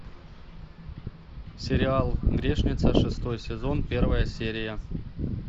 сериал грешница шестой сезон первая серия